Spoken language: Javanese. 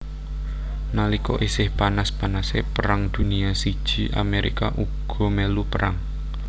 Nalika isih panas panasé Perang Dunia I Amerika uga mèlu perang